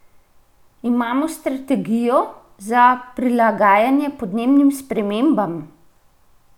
Imamo strategijo za prilagajanje podnebnim spremembam?